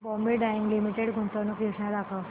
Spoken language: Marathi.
बॉम्बे डाईंग लिमिटेड गुंतवणूक योजना दाखव